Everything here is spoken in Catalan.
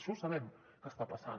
això sabem que està passant